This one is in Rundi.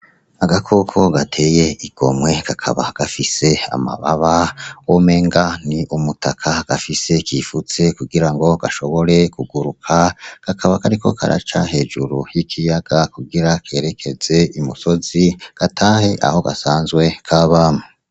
Agakoko gateye igomwe. Kakaba gafise amababa womenga ni umutaka gafise, kifutse kugira ngo gashobore kuguruka. Kakaba kariko karaca hejuru y'ikiyaga kugira kerekeze i musozi, gatahe aho gasanzwe kaba.